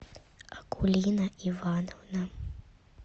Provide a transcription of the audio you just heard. акулина ивановна